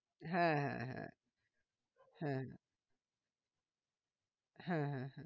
হ্যাঁ হ্যাঁ হ্যাঁ হ্যাঁ হ্যাঁ হ্যাঁ হ্যাঁ